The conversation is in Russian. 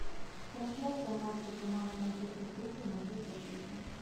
трансляция матча команд манчестер сити манчестер сити